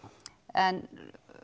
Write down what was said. en